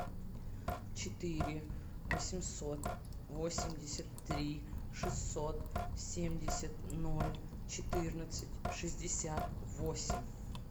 четыре восемьсот восемьдесят три шестьсот семьдесят ноль четырнадцать шестьдесят восемь